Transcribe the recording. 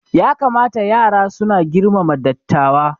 Ya kamata yara suna girmama dattawa